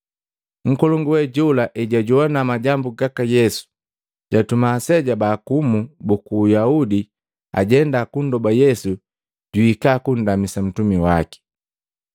Nkolongu we jola ejwajowana majambu gaka Yesu, jatuma aseja bakumu buku Uyaudi ajenda kundoba Yesu juhika kundamisa ntumi waki.